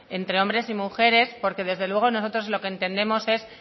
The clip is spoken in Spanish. entre hombres y mujeres porque desde luego nosotros lo que entendemos es